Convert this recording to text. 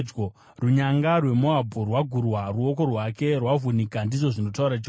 Runyanga rweMoabhu rwagurwa; ruoko rwake rwavhunika,” ndizvo zvinotaura Jehovha.